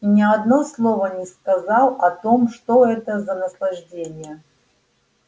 и ни одно слова не сказал о том что это за наслаждение